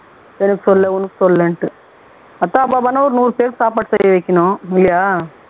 எனக்கு சொல்லலை உனக்கு சொல்லலைனுட்டு அதான் அப்போ என்ன ஒரு நூறு பேருக்கு சாப்பாடு செய்ய வைக்கணும் இல்லையா